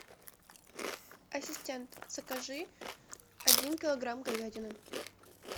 ассистент закажи один килограмм говядины